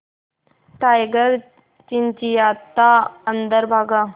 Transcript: tiger चिंचिंयाता अंदर भागा